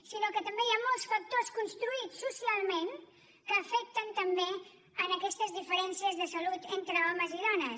sinó que també hi ha molts factors construïts socialment que afecten també aquestes diferències de salut entre homes i dones